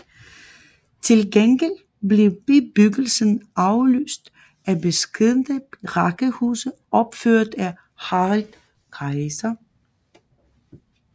Til gengæld blev bebyggelsen afløst af beskedne rækkehuse opført af Harald Kayser